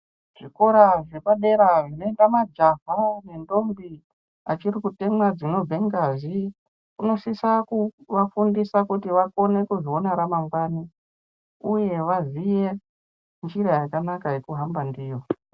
Zvikora zvepadera zvinoenda majaha nendombi achiri kutemwa dzinobva ngazi anosisa kuafundisa kuti akone kuzoona ramangwani uye vaziye njira yakanaka yekuhamba ndiyo.